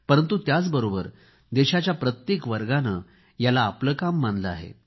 परंतु त्याबरोबरच देशाच्या प्रत्येक वर्गाने याला आपले काम मानले आहे